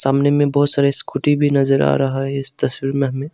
सामने में बहुत सारे स्कूटी भी नजर आ रहा है इस तस्वीर में हमें।